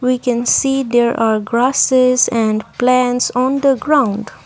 we can see their are grasses and plants on the ground.